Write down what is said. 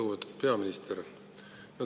Lugupeetud peaminister!